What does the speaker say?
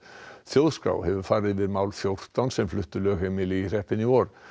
þjóðskrá hefur farið yfir mál fjórtán einstaklinga sem fluttu lögheimili í hreppinn í vor